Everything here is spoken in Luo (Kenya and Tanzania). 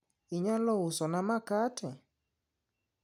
inyalo uso na makate?